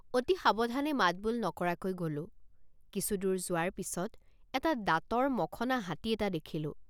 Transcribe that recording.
অতি সাৱধানে মাতবোল নকৰাকৈ গলোঁ ৷ কিছুদূৰ যোৱাৰ পিচত এটা দাঁতৰ মখনা হাতী এটা দেখিলোঁ।